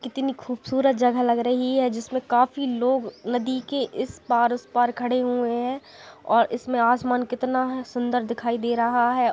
कितनी खूबसूरत जगह लग रही है जिसमें काफी लोग नदी के इस पार उस पार खड़े हुए है और इसमें आसमान कितना है सुंदर दिखाई दे रहा है।